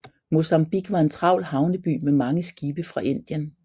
Mozambique var en travl havneby med mange skibe fra Indien